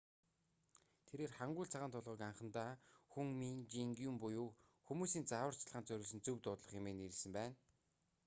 тэрээр хангул цагаан толгойг анхандаа хунмин жеонгум буюу хүмүүсийн зааварчилгаанд зориулсан зөв дуудлага хэмээн нэрлэсэн байна